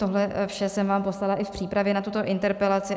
Tohle vše jsem vám poslala i v přípravě na tuto interpelaci.